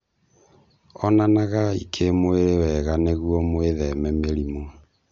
Onanagai kĩmwĩrĩ wega nĩguo mwĩtheme mĩrimu